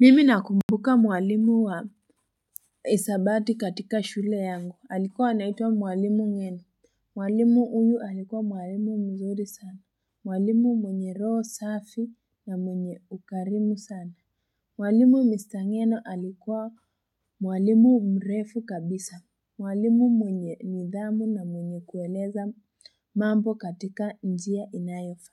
Mimi nakumbuka mwalimu wa hisabati katika shule yangu alikuwa anaitwa mwalimu ng'eno Mwalimu huyu alikuwa mwalimu mzuri sana Mwalimu mwenye roho safi na mwenye ukarimu sana Mwalimu mista ng'eno alikuwa mwalimu mrefu kabisa Mwalimu mwenye nidhamu na mwenye kueleza mambo katika njia inayofaa